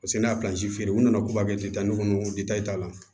Paseke ne ye feere u nana k'u b'a kɛ ten kɔni t'a la